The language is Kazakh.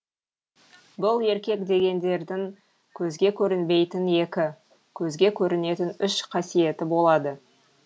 бұл еркек дегендердің көзге көрінбейтін екі көзге көрінетін үш қасиеті болады